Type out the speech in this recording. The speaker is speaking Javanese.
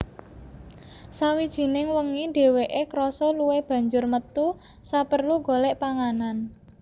Sawijining wengi dheweke krasa luwe banjur metu saperlu golek panganan